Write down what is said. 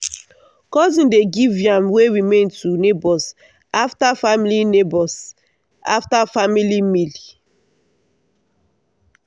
cousin dey give yam wey remain to neighbours after family neighbours after family meal.